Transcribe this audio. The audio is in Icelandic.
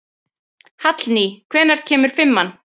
Hallný, hvenær kemur fimman?